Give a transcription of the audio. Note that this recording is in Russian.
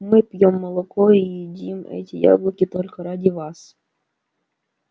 мы пьём молоко и едим эти яблоки только ради вас